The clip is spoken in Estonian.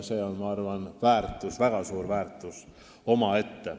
See on minu arvates väga suur väärtus omaette.